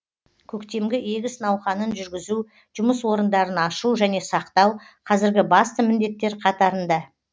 көктемгі егіс науқанын жүргізу жұмыс орындарын ашу және сақтау қазіргі басты міндеттер қатарында